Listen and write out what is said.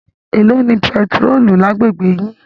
Èló ni bẹntiróòlù lágbègbè yín?